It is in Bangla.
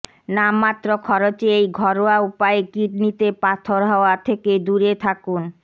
নামমাত্র খরচে এই ঘরোয়া উপায়ে কিডনিতে পাথর হওয়া থেকে দূরে থাকুন